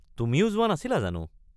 তুমিও যোৱা নাছিলা জানো।